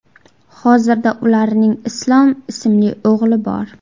Hozirda ularning Islom ismli o‘g‘li bor.